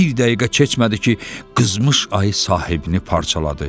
Bir dəqiqə keçmədi ki, qızmış ayı sahibini parçaladı.